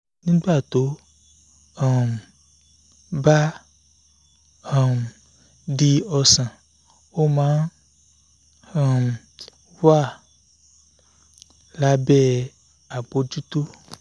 nígbà tó um bá um di ọ̀sán ó máa ń um wà lábẹ́ àbójútó